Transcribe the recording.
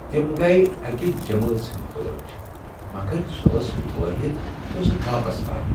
تم گٔیہ اکہ جمٲژ ہٕنٛدۍ پٲٹھۍ مگر سۄ ٲس وٲحد یۄس واپس آیہ۔